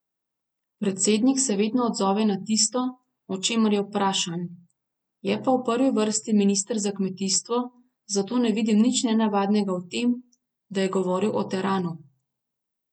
Predsednik se vedno odzove na tisto, o čemer je vprašan, je pa v prvi vrsti minister za kmetijstvo, zato ne vidim nič nenavadnega v tem, da je govoril o teranu.